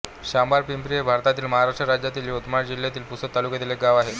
शांबळपिंपरी हे भारतातील महाराष्ट्र राज्यातील यवतमाळ जिल्ह्यातील पुसद तालुक्यातील एक गाव आहे